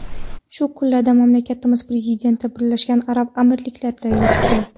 Shu kunlarda mamlakatimiz prezidenti Birlashgan Arab Amirliklarida yuribdi .